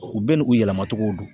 U bɛɛ n'u yɛlɛmacogo do.